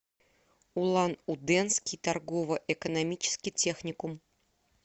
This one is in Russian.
улан удэнский торгово экономический техникум